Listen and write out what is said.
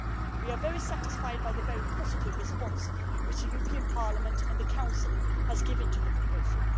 We are very satisfied by the very positive response that Parliament and the Council have given to the proposal.